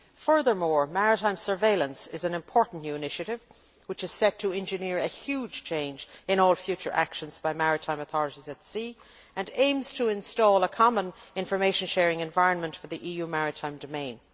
Furthermore, maritime surveillance is an important new initiative, which is set to engineer a huge change in all future actions by maritime authorities at sea and aims to install a common information sharing environment for the EU maritime domain.